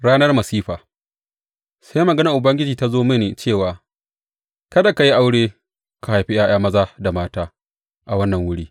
Ranar masifa Sai maganar Ubangiji ta zo mini cewa, Kada ka yi aure ka haifi ’ya’ya maza da mata a wannan wuri.